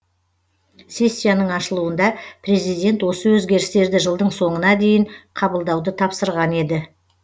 сессияның ашылуында президент осы өзгерістерді жылдың соңына дейін қабылдауды тапсырған еді